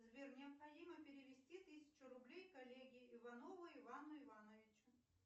сбер необходимо перевести тысячу рублей коллеге иванову ивану ивановичу